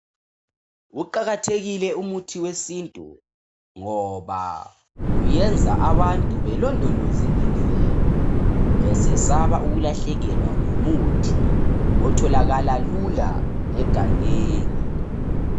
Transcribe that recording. Kuqakathekile umuthi wesintu ngoba, uyenza abantu belondoloze imvelo besasaba ukulahlekelwa ngumuthi otholakala lula egangengi.